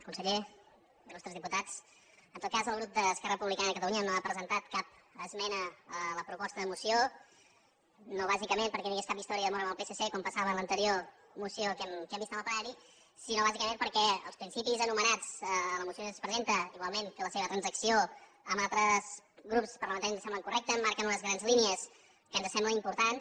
conseller il·lustres diputats en tot cas el grup d’esquerra republicana de catalunya no ha presentat cap esmena a la proposta de moció no bàsicament perquè no hi hagués cap història d’amor amb el psc com passava en l’anterior moció que hem vist en el plenari sinó bàsicament perquè els principis enumerats a la moció que es presenta igualment que la seva transacció amb altres grups parlamentaris ens semblen correctes marquen unes grans línies que ens semblen importants